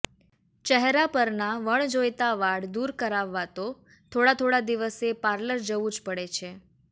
ચહેરા પરના વણજોઈતા વાળ દૂર કરાવવા તો થોડા થોડા દિવસે પાર્લર જવું જ પડે છે